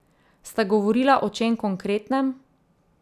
Sta govorila o čem konkretnem?